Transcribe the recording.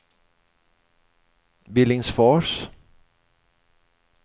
Billingsfors